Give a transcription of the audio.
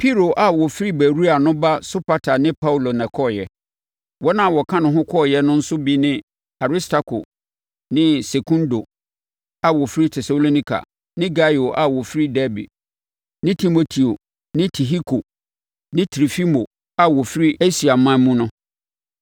Piro a ɔfiri Beroia no ba Sopater ne Paulo na ɛkɔeɛ. Wɔn a wɔka ne ho kɔeɛ no nso bi ne Aristarko ne Sekundo a wɔfiri Tesalonika ne Gaio a ɔfiri Derbe ne Timoteo ne Tihiko ne Trofimo a wɔfiri Asiaman mu no.